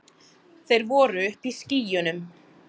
Þeir voru uppi í skýjunum.